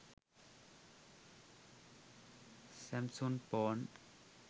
samsung phone